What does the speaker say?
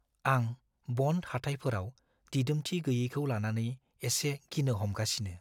आं बन्ड हाथाइफोराव दिदोमथि गैयैखौ लानानै एसे गिनो हमगासिनो।